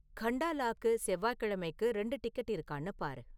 கண்டாலாக்கு செவ்வாக்கிழமைக்கு ரெண்டு டிக்கெட் இருக்கான்னு பாரு